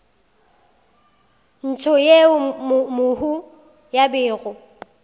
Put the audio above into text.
ntsho yeo mohu a bego